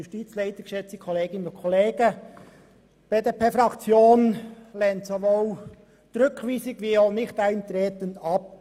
Die BDP-Fraktion lehnt sowohl die Rückweisung wie auch das Nichteintreten ab.